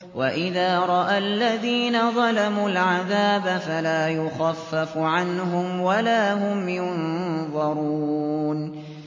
وَإِذَا رَأَى الَّذِينَ ظَلَمُوا الْعَذَابَ فَلَا يُخَفَّفُ عَنْهُمْ وَلَا هُمْ يُنظَرُونَ